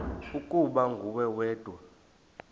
ukuba nguwe wedwa